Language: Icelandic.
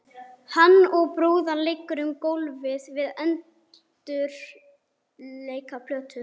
Hann og brúðan liðu um gólfið við undirleik af plötu.